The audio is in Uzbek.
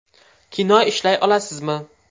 Kino ishlay olamizmi?